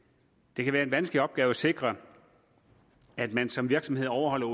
det kan være en vanskelig opgave at sikre at man som virksomhed overholder